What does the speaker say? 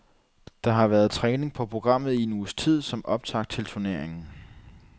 Der har der været træning på programmet i en uges tid som optakt til turneringen.